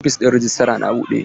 Ofishin rejistra na buɗe?